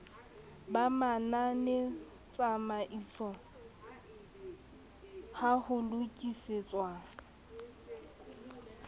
ba mananetsamaiso ha ho lokisetswa